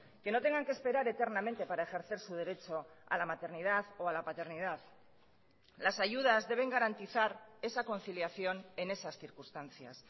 que no tengan que esperar eternamente para ejercer su derecho a la maternidad o a la paternidad las ayudas deben garantizar esa conciliación en esas circunstancias